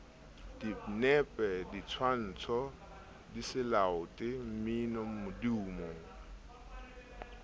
dinepe ditshwantsho diselaete mmino modumo